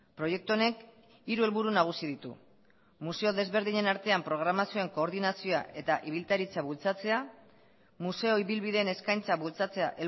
proiektu honek hiru helburu nagusi ditu museo desberdinen artean programazioen koordinazioa eta ibiltaritza bultzatzea museo ibilbideen eskaintza bultzatzea